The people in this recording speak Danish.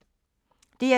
DR2